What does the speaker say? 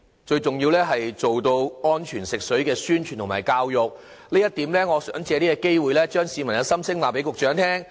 最重要的是要加強安全食水的宣傳和教育，就這一點，我想借這個機會把市民的心聲告知局長。